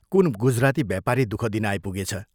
कुन गुजराती व्यापारी दुःख दिन आइपुगेछ।